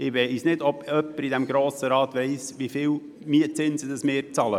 Ich weiss nicht, ob jemand hier im Grossen Rat weiss, wie viel an Mietzinsen wir pro Jahr bezahlen.